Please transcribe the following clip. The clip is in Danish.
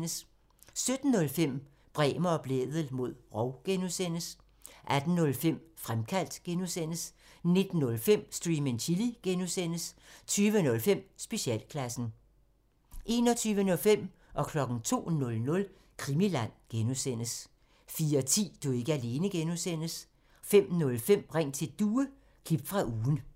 17:05: Bremer og Blædel mod rov (G) 18:05: Fremkaldt (G) 19:05: Stream and Chill (G) 20:05: Specialklassen 21:05: Krimiland (G) 02:00: Krimiland (G) 04:10: Du er ikke alene (G) 05:05: Ring til Due – klip fra ugen